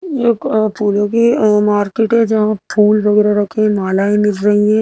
एक अ फूलों की अ मार्केट है जहां फूल वगैरा रखे मलाऐ मिल रही हैं।